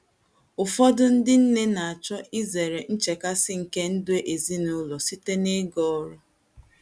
Ụfọdụ ndị nne na - achọ izere nchekasị nke ndụ ezinụlọ site n’ịga ọrụ.